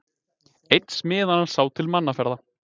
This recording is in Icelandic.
Einn smiðanna sá til mannaferða.